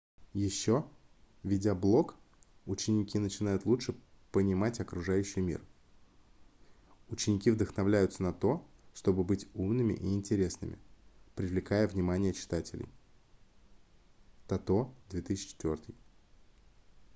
еще ведя блог ученики начинают лучше понимать окружающий мир". ученики вдохновляются на то чтобы быть умными и интересными привлекая внимание читателей тото 2004